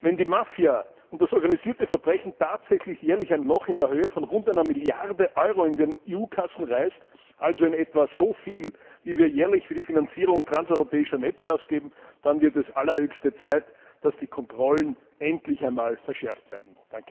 Wenn die Mafia und das organisierte Verbrechen tatsächlich jährlich ein Loch in der Höhe von rund einer Milliarde Euro in die EU Kassen reißen also in etwa so viel, wie wir jährlich für die Finanzierung transeuropäischer Netze ausgeben dann wird es allerhöchste Zeit, dass die Kontrollen endlich einmal verschärft werden.